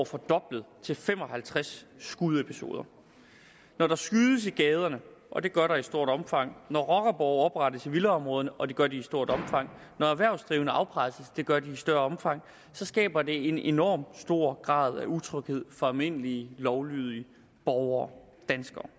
fordoblet til fem og halvtreds skudepisoder når der skydes i gaderne og det gør der i stort omfang når rockerborge oprettes i villaområderne og det gør de i stort omfang når erhvervsdrivende afpresses og det gør de i større omfang så skaber det en enormt stor grad af utryghed for almindelige lovlydige borgere danskere